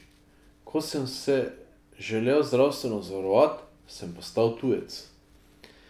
Ko sem se želel zdravstveno zavarovati, sem postal tujec ...